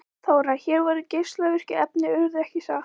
Þóra: Hér voru geislavirku efnin urðuð, ekki satt?